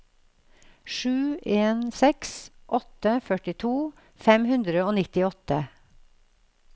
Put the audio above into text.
sju en seks åtte førtito fem hundre og nittiåtte